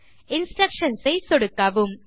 instructions ஐ சொடுக்கவும்